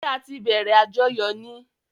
Ṣẹ́ á tí bẹ̀rẹ̀ àjọyọ̀ ni?